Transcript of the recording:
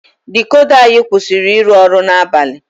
Dikoda anyị kwụsịrị ịrụ ọrụ n'abalị.